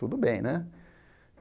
Tudo bem, né?